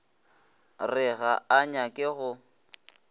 re ga a nyake go